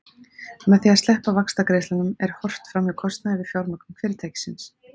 Með því að sleppa vaxtagreiðslum er horft fram hjá kostnaði við fjármögnun fyrirtækis.